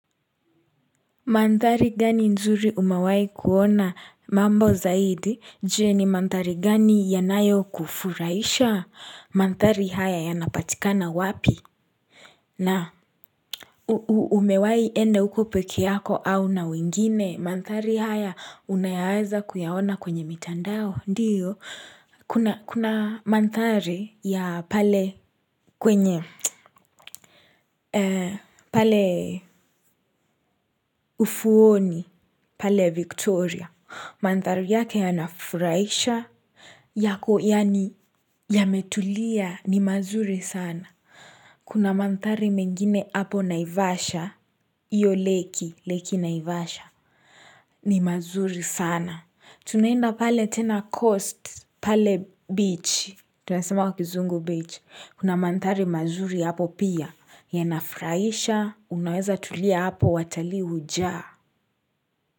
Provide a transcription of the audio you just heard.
Manthari gani nzuri umewahi kuona mambo zaidi je ni manthari gani yanayo kufurahisha manthari haya yanapatikana wapi na Umewahi ende huko pekee yako au na wengine manthari haya unayaza kuyaona kwenye mitandao ndiyo kuna manthari ya pale kwenye pale ufuoni, pale Victoria Manthari yake yanafurahisha yako yaani yametulia ni mazuri sana Kuna manthari mengine hapo naivasha Iyo leki, leki naivasha ni mazuri sana Tunaenda pale tena coast pale beach tunasema kuzungu beach Kuna manthari mazuri hapo pia Yanafuraisha Unaweza tulia hapo wataliihuja.